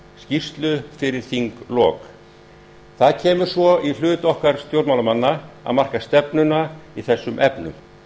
skýrslu fyrir þinglok það kemur svo í hlut okkar stjórnmálamannanna að marka stefnuna í þessum efnum